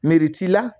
Meri t'i la